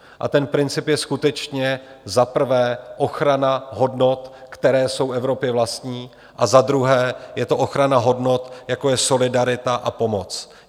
A ten princip je skutečně za prvé ochrana hodnot, které jsou Evropě vlastní, a za druhé je to ochrana hodnot, jako je solidarita a pomoc.